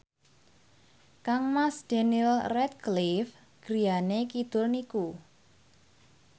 kangmas Daniel Radcliffe griyane kidul niku